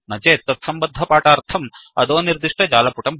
न चेत् तत्सम्बद्धपाठार्थम् अधोनिर्दिष्ट जालपुटं पश्यन्तु